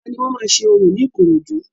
Ọlá ni wọ́n máa ṣe orò ní Ikorodu